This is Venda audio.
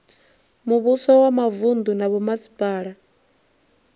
muvhuso wa mavunu na vhomasipala